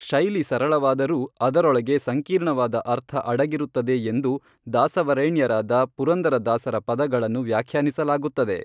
ಶೈಲಿ ಸರಳವಾದರೂ ಅದರೊಳಗೆ ಸಂಕೀರ್ಣವಾದ ಅರ್ಥ ಅಡಗಿರುತ್ತದೆ ಎಂದು ದಾಸವರೇಣ್ಯರಾದ ಪುರಂದರ ದಾಸರ ಪದಗಳನ್ನು ವ್ಯಾಖ್ಯಾನಿಸಲಾಗುತ್ತದೆ